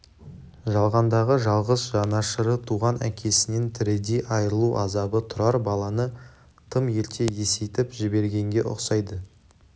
жалғандағы жалғыз жанашыры туған әкесінен тірідей айырылу азабы тұрар баланы тым ерте есейтіп жібергенге ұқсайды